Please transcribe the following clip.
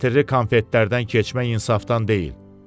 Ətirli konfetlərdən keçmək insafdan deyil.